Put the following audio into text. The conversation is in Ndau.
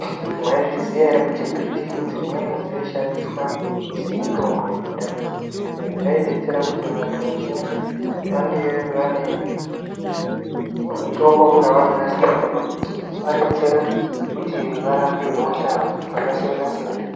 Mwaizviziya ere kuti mbiti dzimweni dzaishandiswa semitombo yekudhaya, izvi zvaidetsera kuti vanthu vazhinji vange vane mitombo yavanonasirirwa yechivadetsera kuti varapwe hosha dzakasiyana-siyana